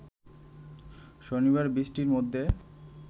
শনিবার বৃষ্টির মধ্যে